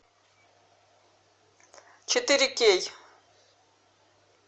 четыре кей